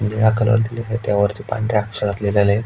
निळा कलर दिलेलाये त्यावरती पांढऱ्या अक्षरात लिहिलंय.